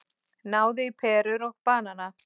Náðu í perur og banana!